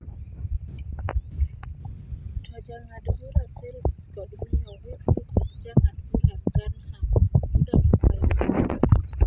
To Jang’ad bura Sales kod Miyo Whipple kod Jang’ad bura Garnham nodagi kwayo mare